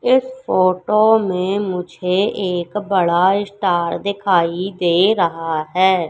इस फोटो मे मुझे एक बड़ा स्टार दिखाई दे रहा है।